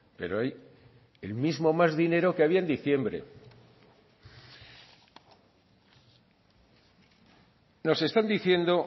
pero hay el mismo más dinero que había en diciembre nos están diciendo